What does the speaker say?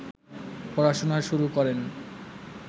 পড়াশোনা শুরু করেন